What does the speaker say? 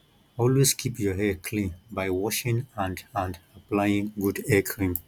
always keep your hair clean by washing and and applying good hair cream